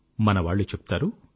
మనవాళ్ళు చెప్తారు